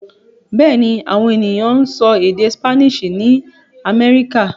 Bẹ́ẹ̀ ni, àwọn ènìyàn ń sọ èdè Spanish ní Amẹ́ríkà.